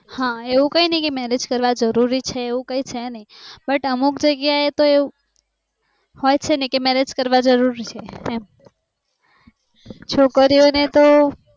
હા એવું કાય નાય ક marriage કરવા જરૂરી છે એવું કાય છે નાય but અમુક જગ્યા એવું હોઈચેને કે marriage કરવા જરૂરી છે એમ છોકરીઓને તો